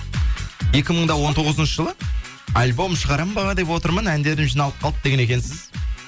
екі мың да он тоғызыншы жылы альбом шығарамын ба деп отырмын әндерім жиналып қалды деген екенсіз